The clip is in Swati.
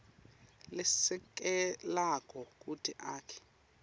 lesekelako kute akhe